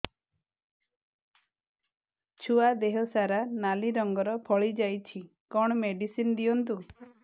ଛୁଆ ଦେହ ସାରା ନାଲି ରଙ୍ଗର ଫଳି ଯାଇଛି କଣ ମେଡିସିନ ଦିଅନ୍ତୁ